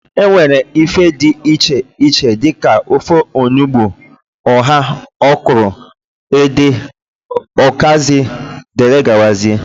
E nwere ife dị iche iche dịka ofe onugbu, ụha, ọkwụrụ, ede, ukazi, dgz